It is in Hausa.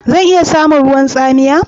Zan iya samun ruwan tsamiya?